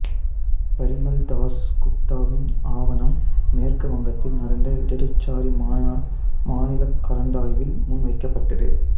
பரிமள் தாஸ் குப்தாவின் ஆவணம் மேற்கு வங்கத்தில் நடந்த இடதுசாரி மாநிலக் கலந்தாய்வில் முன்வைக்கப்பட்டது